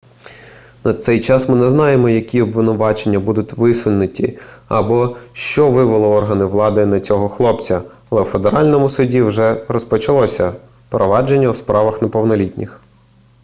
на цей час ми не знаємо які обвинувачення будуть висунуті або що вивело органи влади на цього хлопця але у федеральному суді вже розпочалося провадження у справах неповнолітніх